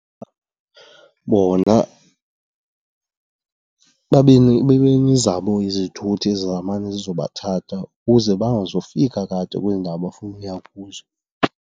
Bona babe nezabo izithuthi ezizamane zizobathatha ukuze bangazofika kade kwezi ndawo bafuna uya kuzo.